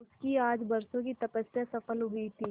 उसकी आज बरसों की तपस्या सफल हुई थी